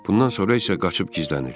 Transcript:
Bundan sonra isə qaçıb gizlənir.